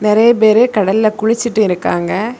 நெறைய பேரு கடல்ல குளிச்சிட்டு இருக்காங்க.